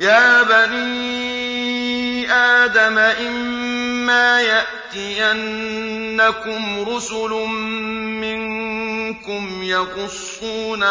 يَا بَنِي آدَمَ إِمَّا يَأْتِيَنَّكُمْ رُسُلٌ مِّنكُمْ يَقُصُّونَ